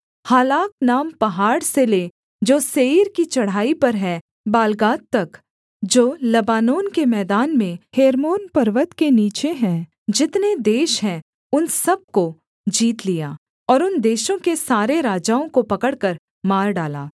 हालाक नाम पहाड़ से ले जो सेईर की चढ़ाई पर है बालगाद तक जो लबानोन के मैदान में हेर्मोन पर्वत के नीचे है जितने देश हैं उन सब को जीत लिया और उन देशों के सारे राजाओं को पकड़कर मार डाला